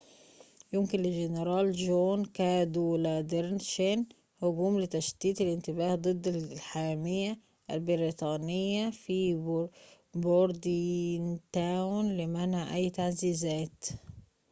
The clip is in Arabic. يمكن للجنرال جون كادوالادر شن هجوم لتشتيت الانتباه ضد الحامية البريطانية في بوردينتاون لمنع أي تعزيزات